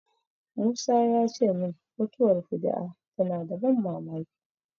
Musa ya ce min mutuwar fuju'a tana da ban mamaki.